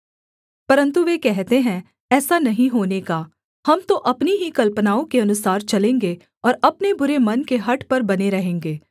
परन्तु वे कहते हैं ऐसा नहीं होने का हम तो अपनी ही कल्पनाओं के अनुसार चलेंगे और अपने बुरे मन के हठ पर बने रहेंगे